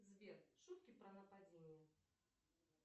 сбер шутки про нападение